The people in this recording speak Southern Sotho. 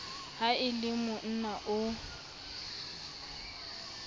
ha e le mona o